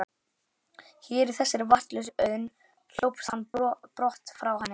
Hér, í þessari vatnslausu auðn, hljópst hann brott frá henni.